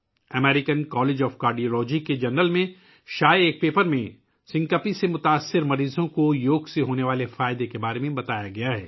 American College of Cardiology کے جریدے میں شائع ہونے والے ایک مقالے میں سنکوپ کے شکار مریضوں کے لیے یوگا کے فوائد بیان کیے گئے ہیں